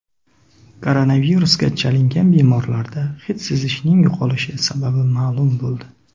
Koronavirusga chalingan bemorlarda hid sezishning yo‘qolishi sababi ma’lum bo‘ldi.